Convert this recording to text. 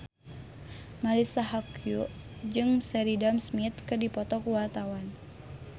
Marisa Haque jeung Sheridan Smith keur dipoto ku wartawan